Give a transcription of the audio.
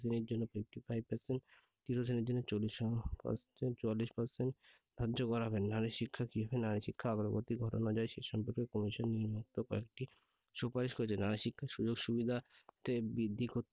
শ্রেণীর জন্য fifty five percent তৃতীয় শ্রেণীর জন্য চুয়াল্লিশ percent ধার্য করা হবে। নারী শিক্ষা কিভাবে নারী শিক্ষার অগ্রগতি ঘটানো যায় সে সম্পর্কে commission নিম্নোক্ত কয়েকটি সুপারিশ করেছেন যারা শিক্ষার সুযোগ সুবিধাতে বৃদ্ধি